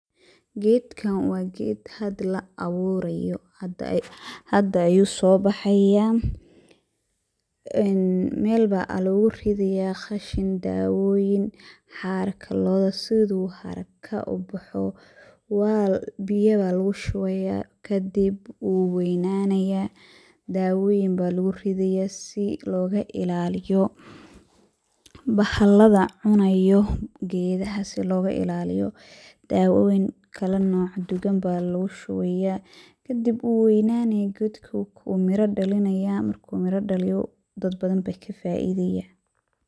Gedkan wa ged hada laaburayo, hada ayu sobaxaya een meel aya luguridaya qashin, dawoyin, xarka loda sidu haraka ubaxo biyo aya lugushubaya kadib wuweynanaya, dawoyin aya luguridaya si logailaliyo bahalada cunayo gedaha dawoyin kala nooc duwan aya lugushubaya kadib wu weynanaya gedka mira ayu dalinaya marku miro daliyo dad badan aya kafaidaya.